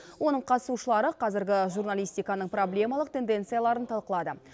оның қатысушылары қазіргі журналистиканың проблемалық тенденцияларын талқылады